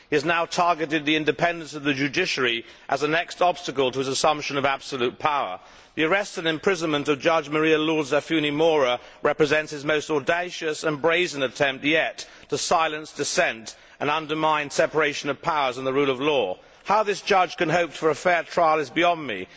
He has now targeted the independence of the judiciary as a next obstacle to his assumption of absolute power. The arrest and imprisonment of Judge María Lourdes Afiuni Mora represents his most audacious and brazen attempt yet to silence dissent and undermine separation of powers and the rule of law. How this judge can hope for a fair trial is beyond me.